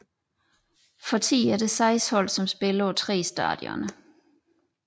For tiden er der seks hold som spiller på tre stadioner